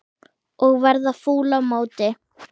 Og verða fúll á móti!